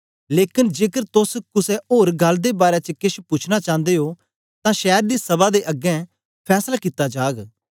लेकन जेकर तोस कुसे ओर गल्ल दे बारै च केछ पूछना चांदे ओ तां शैर दी सभा दे अगें फैसला कित्ता जाग